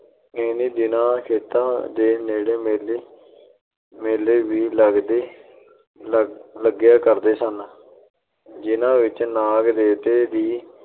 ਇਹਨੀ ਦਿਨੀ ਖੇਤਾਂ ਦੇ ਨੇੜੇ ਮੇਲੇ ਅਹ ਮੇਲੇ ਵੀ ਲੱਗਿਆ ਕਰਦੇ ਸਨ, ਜਿਨ੍ਹਾਂ ਵਿੱਚ ਨਾਗ ਦੇਵਤੇ ਦੀ